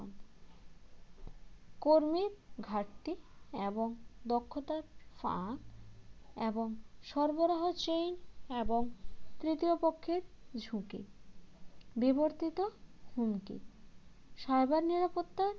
কর্মীর ঘাটতি এবং দক্ষতার ফাঁক এবং সরবরাহ হচ্ছে এবং তৃতীয় পক্ষের ঝুঁকি বিবর্তিত হুমকি cyber নিরাপত্তা